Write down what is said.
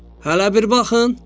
Hələ bir baxın!